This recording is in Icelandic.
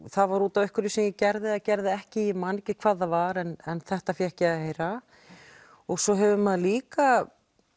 það var út af einhverju sem ég gerði eða gerði ekki ég man ekki hvað það var en þetta fékk ég að heyra svo hefur maður líka